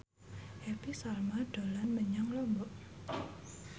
Happy Salma dolan menyang Lombok